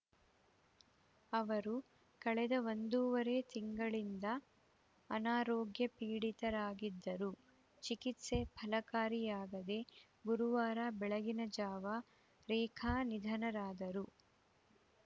ಅವರು ಕಳೆದ ಒಂದೂವರೆ ತಿಂಗಳಿಂದ ಅನಾರೋಗ್ಯಪೀಡಿತರಾಗಿದ್ದರು ಚಿಕಿತ್ಸೆ ಫಲಕಾರಿಯಾಗದೇ ಗುರುವಾರ ಬೆಳಗಿನ ಜಾವ ರೇಖಾ ನಿಧನರಾದರು